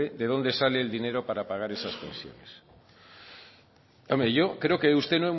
de donde sale el dinero para pagar esas pensiones hombre yo creo que de usted